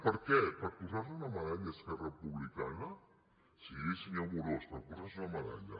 per què per posar se una medalla esquerra republicana sí senyor amorós per posar se una medalla